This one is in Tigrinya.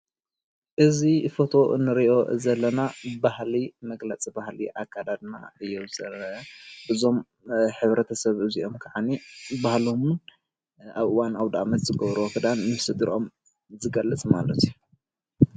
እዚ ፎቶ እንሪኦ ዘለና ባህሊ መግለፂ ባህሊ ኣከዳድና እዩ ዝርአ። እዞም ሕብረተሰብ እዚኦም ኸዓኒ ባህሎምን ኣብ እዋን ኣውዳአመት ዝግበርዎ ኽዳን ምስ ሰድሮኦም ዝገልፅ ማለት እዩ።